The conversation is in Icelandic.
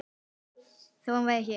Þó hann væri hér.